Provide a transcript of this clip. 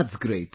That's great